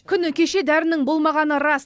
күні кеше дәрінің болмағаны рас